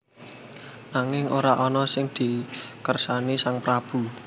Nanging ora ana sing dikersani sang prabu